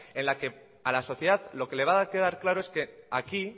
en la que a la sociedad lo que le va a quedar claro es que aquí